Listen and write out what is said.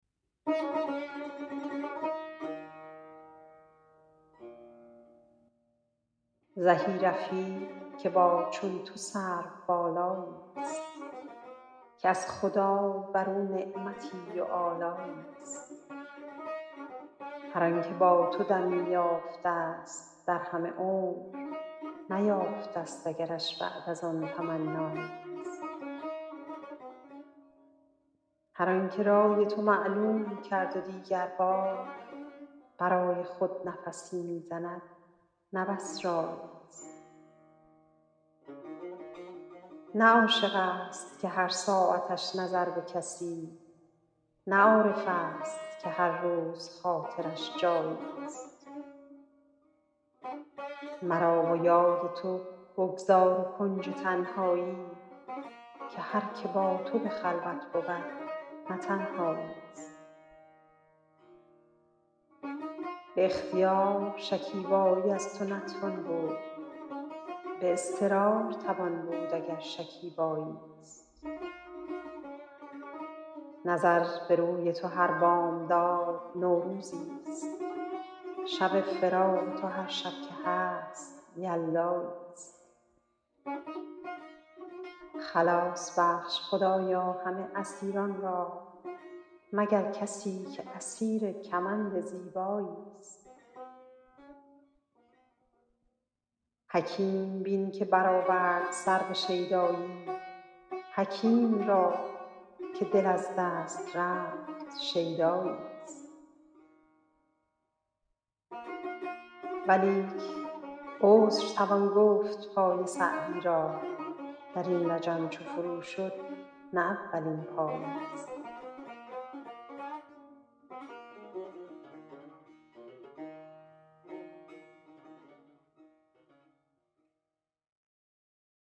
زهی رفیق که با چون تو سروبالایی است که از خدای بر او نعمتی و آلایی است هر آن که با تو دمی یافته است در همه عمر نیافته است اگرش بعد از آن تمنایی است هر آن که رای تو معلوم کرد و دیگر بار برای خود نفسی می زند نه بس رایی است نه عاشق است که هر ساعتش نظر به کسی نه عارف است که هر روز خاطرش جایی است مرا و یاد تو بگذار و کنج تنهایی که هر که با تو به خلوت بود نه تنهایی است به اختیار شکیبایی از تو نتوان بود به اضطرار توان بود اگر شکیبایی است نظر به روی تو هر بامداد نوروزی است شب فراق تو هر شب که هست یلدایی است خلاص بخش خدایا همه اسیران را مگر کسی که اسیر کمند زیبایی است حکیم بین که برآورد سر به شیدایی حکیم را که دل از دست رفت شیدایی است ولیک عذر توان گفت پای سعدی را در این لجم چو فرو شد نه اولین پایی است